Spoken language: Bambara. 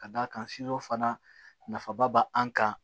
Ka d'a kan fana nafaba b'an kan